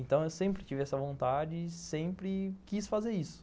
Então, eu sempre tive essa vontade e sempre quis fazer isso.